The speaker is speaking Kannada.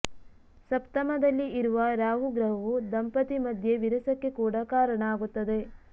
ಸಪ್ತಮದಲ್ಲಿ ಇರುವ ರಾಹು ಗ್ರಹವು ದಂಪತಿ ಮಧ್ಯೆ ವಿರಸಕ್ಕೆ ಕೂಡ ಕಾರಣ ಆಗುತ್ತದೆ